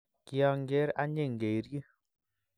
kianger anying keiryi